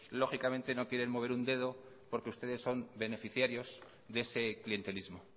lógicamente no quieren mover un dedo porque ustedes son beneficiarios de ese clientelismo